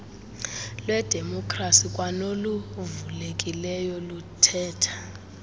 lwedemokrasi kwanoluvulekileyo luthetha